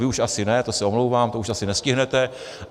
Vy už asi ne, to se omlouvám, to už asi nestihnete.